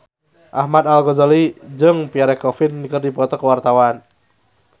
Ahmad Al-Ghazali jeung Pierre Coffin keur dipoto ku wartawan